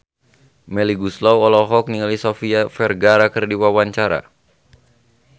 Melly Goeslaw olohok ningali Sofia Vergara keur diwawancara